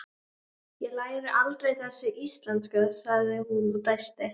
Hún stenst samt ekki freistinguna og fær sér einn.